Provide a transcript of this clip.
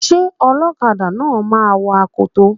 Ṣé ọlọ́kadà náà máa wọ akoto?